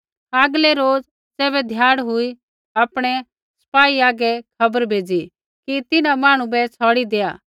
आगलै रोज़ ज़ैबै ध्याड़ हुई तैबै हाकिमै आपणै सपाई आगै खबर भेज़ी कि तिन्हां मांहणु बै छ़ौड़ि दैआ